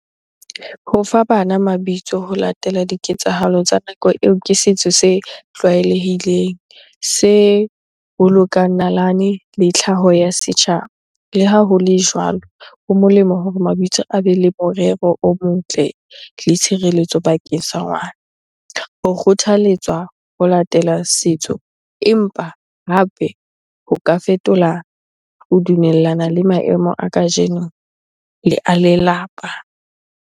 Ho fa bana mabitso ho latela diketsahalo tsa nako eo, ke setso se tlwaelehileng, se bolokang nalane le tlhaho ya setjhaba. Le ha ho le jwalo, ho molemo hore mabitso a be le morero o motle le tshireletso bakeng sa ngwana. Ho kgothaletswa ho latela setso empa hape ho ka fetola ho dumellana le maemo a kajeno, le a lelapa.